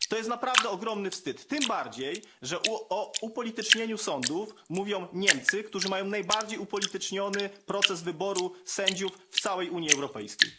To naprawdę ogromny wstyd, tym bardziej że o upolitycznieniu sądów mówią Niemcy, którzy mają najbardziej upolityczniony proces wyboru sędziów w całej Unii Europejskiej.